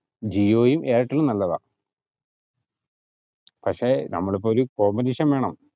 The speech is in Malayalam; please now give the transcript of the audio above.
ജിയോയും എയര്ടെലും നല്ലതാ പക്ഷെ നമ്മള് ഇപ്പൊ ഒരു combination വേണം